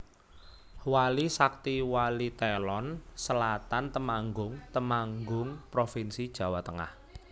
Wali Sakti Walitelon Selatan Temanggung Temanggung provinsi Jawa Tengah